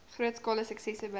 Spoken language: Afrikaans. grootskaalse suksesse bereik